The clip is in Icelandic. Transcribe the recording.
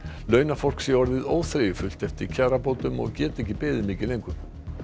launafólk sé orðið óþreyjufullt eftir kjarabótum og geti ekki beðið mikið lengur